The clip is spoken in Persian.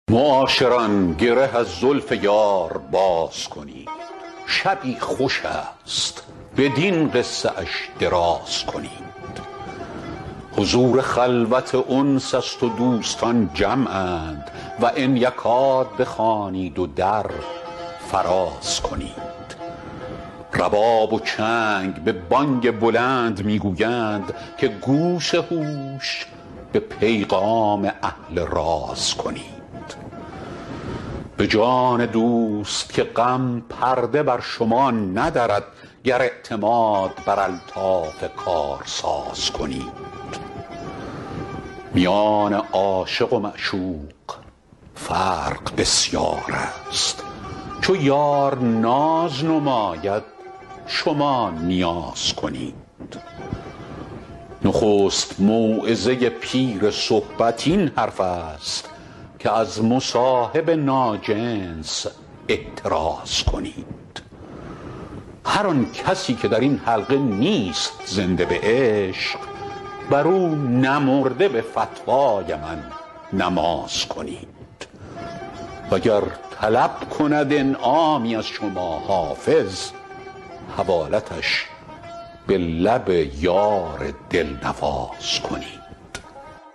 معاشران گره از زلف یار باز کنید شبی خوش است بدین قصه اش دراز کنید حضور خلوت انس است و دوستان جمعند و ان یکاد بخوانید و در فراز کنید رباب و چنگ به بانگ بلند می گویند که گوش هوش به پیغام اهل راز کنید به جان دوست که غم پرده بر شما ندرد گر اعتماد بر الطاف کارساز کنید میان عاشق و معشوق فرق بسیار است چو یار ناز نماید شما نیاز کنید نخست موعظه پیر صحبت این حرف است که از مصاحب ناجنس احتراز کنید هر آن کسی که در این حلقه نیست زنده به عشق بر او نمرده به فتوای من نماز کنید وگر طلب کند انعامی از شما حافظ حوالتش به لب یار دل نواز کنید